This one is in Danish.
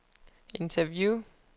interview